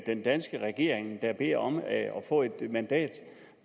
den danske regering der beder om at få et mandat